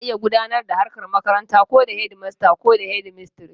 Ana iya gudanar da harkar makaranta ko da shedimasta ko shedimistres